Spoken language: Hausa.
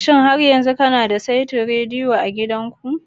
Shin har yanzu kana da saitin rediyo a gidanku?